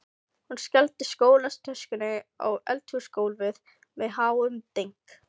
Hún skellti skólatöskunni á eldhúsgólfið með háum dynk.